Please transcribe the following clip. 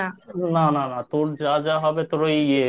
না না না। তোর যা যা হবে তোর ওই